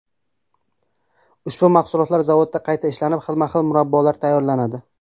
Ushbu mahsulotlar zavodda qayta ishlanib, xilma-xil murabbolar tayyorlanadi.